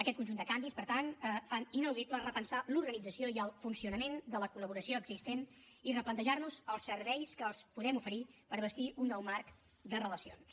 aquest conjunt de canvis per tant fa inaudible repensar l’organització i el funcionament de la col·laboració existent i replantejar nos els serveis que els podem oferir per bastir un nou marc de relacions